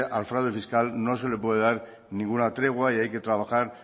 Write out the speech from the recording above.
al fraude fiscal no se le puede dar ninguna tregua y hay que trabajar